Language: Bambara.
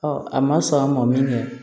a ma sɔn an ma min kɛ